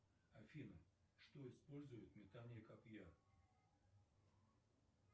афина что использует метание копья